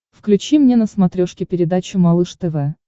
включи мне на смотрешке передачу малыш тв